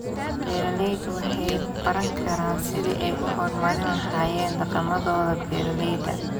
Beeraleydu waxay baran karaan sidii ay u horumarin lahaayeen dhaqamadooda beeralayda.